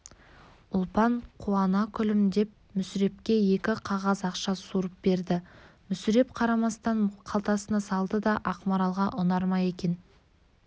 ұлпан қуана күлімдеп мүсірепке екі қағаз ақша суырып берді мүсіреп қарамастан қалтасына салды да ақмаралға ұнар ма екен